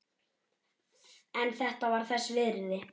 En þetta var þess virði.